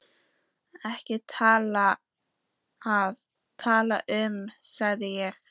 Ekki til að tala um, sagði ég.